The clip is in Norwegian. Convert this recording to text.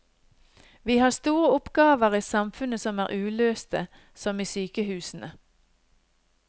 Vi har store oppgaver i samfunnet som er uløste, som i sykehusene.